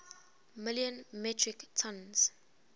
million metric tons